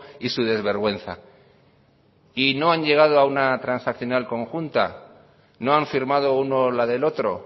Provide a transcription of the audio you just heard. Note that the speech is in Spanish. y su desvergüenza y no han llegado a una transaccional conjunta no han firmado uno la del otro